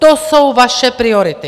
To jsou vaše priority!